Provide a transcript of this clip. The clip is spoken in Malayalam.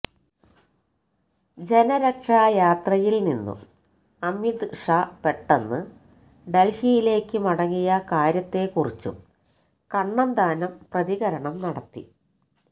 ജനരക്ഷാ യാത്രയില് നിന്നും അമിത് ഷാ പെട്ടെന്നു ഡല്ഹിയിലേക്ക് മടങ്ങിയ കാര്യത്തെക്കുറിച്ചും കണ്ണന്താനം പ്രതികരണം നടത്തി